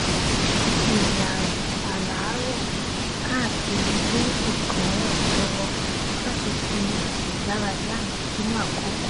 ìrìn àràárọ káàkiri bíríkì ràn mí lọwọ láti fi ètò ìdárayá mi sínú àkókò